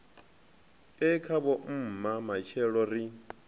e khavho mma matshelo ri